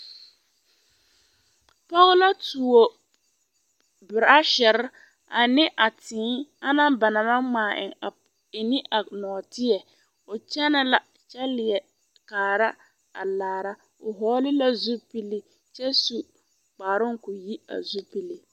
Pɔge la tuo beraasere ane a tēē ana ba naŋ maŋ ŋmaa e ne a nɔɔteɛ o kyɛnɛ la kyɛ leɛ kaara laara o vɔgle la zupili kyɛ su kparoo k'o yi a zupili.